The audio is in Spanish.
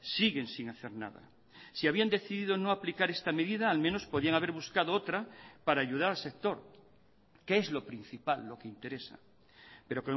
siguen sin hacer nada si habían decidido no aplicar esta medida al menos podían haber buscado otra para ayudar al sector que es lo principal lo que interesa pero